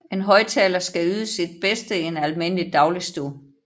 En højttaler skal yde sit bedste i en almindelig dagligstue